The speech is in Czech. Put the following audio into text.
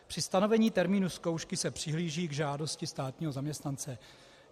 Při stanovení termínu zkoušky se přihlíží k žádosti státního zaměstnance.